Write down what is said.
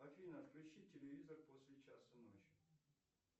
афина отключи телевизор после часа ночи